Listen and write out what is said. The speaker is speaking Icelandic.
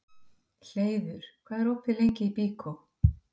Hleiður, hvað er opið lengi í Byko?